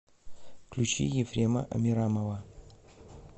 включи ефрема амирамова